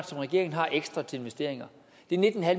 som regeringen har ekstra til investeringer det er nitten